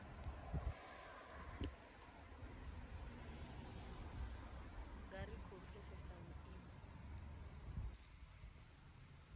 nga ri khou pfesesa vhuimo